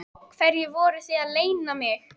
Hverju voruð þið að leyna mig?